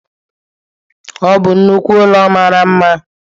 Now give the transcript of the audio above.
Ọ bụ nnukwu ụlọ mara mma